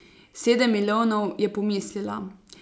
Sedem milijonov, je pomislila.